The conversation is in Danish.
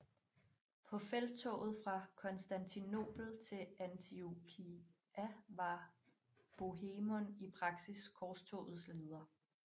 På felttoget fra Konstantinopel til Antiokia var Bohemund i praksis korstogets leder